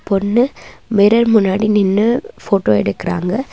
பொண்ணு மிரர் முன்னாடி நின்னு போட்டோ எடுக்குறாங்க.